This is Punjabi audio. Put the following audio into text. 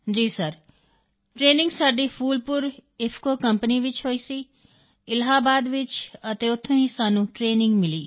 ਜੀ ਸਰ ਟਰੇਨਿੰਗ ਸਾਡੀ ਫੂਲਪੁਰ ਇਫਕੋ ਕੰਪਨੀ ਵਿੱਚ ਹੋਈ ਸੀ ਇਲਾਹਾਬਾਦ ਵਿੱਚ ਅਤੇ ਉੱਥੋਂ ਹੀ ਸਾਨੂੰ ਟਰੇਨਿੰਗ ਮਿਲੀ